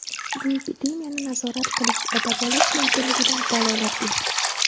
Bu epidemiyani nazorat qilish va davolash mumkinligidan dalolat beradi.